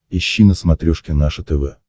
ищи на смотрешке наше тв